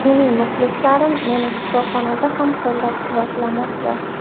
Mening muxlislarim meni shifoxonada ham qo‘llab-quvvatlamoqda.